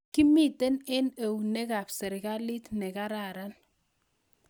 kimitei eng eunekab serikalit nekararan